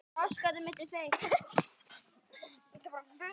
Þetta var allt mjög gaman.